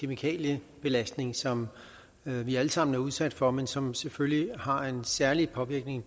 kemikaliebelastning som vi vi alle sammen er udsat for men som selvfølgelig har en særlig påvirkning